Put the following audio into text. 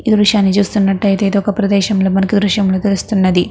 ఈ దృశ్యాన్ని చూస్తునట్టయితే ఇది ఒక ప్రదేశం లా మనం ఈ దృశ్యం లో చూడచ్చు.